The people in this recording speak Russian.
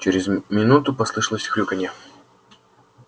через минуту послышалось хрюканье